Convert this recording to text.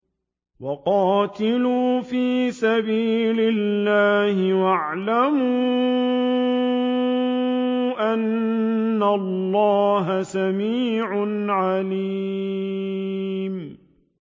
وَقَاتِلُوا فِي سَبِيلِ اللَّهِ وَاعْلَمُوا أَنَّ اللَّهَ سَمِيعٌ عَلِيمٌ